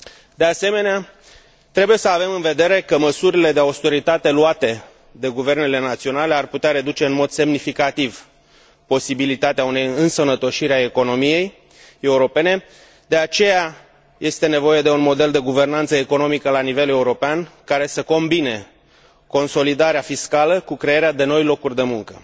De asemenea, trebuie să avem în vedere că măsurile de austeritate luate de guvernele naționale ar putea reduce în mod semnificativ posibilitatea unei însănătoșiri a economiei europene, de aceea este nevoie de un model de guvernanță economică la nivel european care să combine consolidarea fiscală cu crearea de noi locuri de muncă.